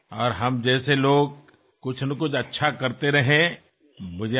మాలాంటివారు ఏదో ఒక మంచి చేస్తూ ఉండాలి